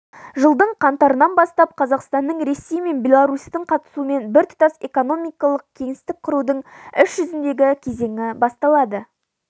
жылдың қаңтарынан бастап қазақстанның ресей мен беларусьтің қатысуымен біртұтас экономикалық кеңістік құрудың іс жүзіндегі кезеңі басталды